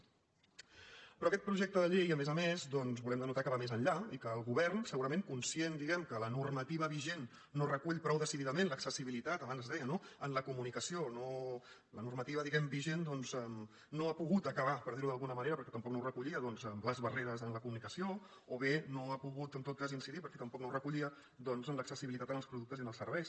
però d’aquest projecte de llei a més a més doncs en volem denotar que va més enllà i que el govern segurament conscient que la normativa vigent no recull prou decididament l’accessibilitat abans es deia no en la comunicació que la normativa vigent no ha pogut posar fi per dir ho d’alguna manera perquè tampoc no ho recollia a les barreres en la comunicació o bé no ha pogut en tot cas incidir perquè tampoc no ho recollia doncs en l’accessibilitat als productes i als serveis